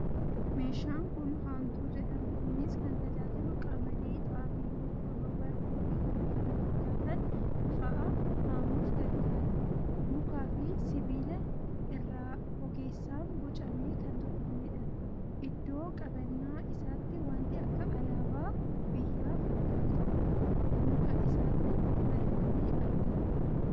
Meeshan kun Haamtuu jedhama. Innis kan tajaajilu Qamadii, Xaafii, Boqqoolloo, Garbuu fii k.k.f fa'a haamuuf gargaara. Mukaa fii sibilaa irraa ogeessan bocamee kan tolfameedha. Iddoo qabannaa isaatti wanti akka alaabaa biyyaa fakkaatu muka isaatti marfamee argama.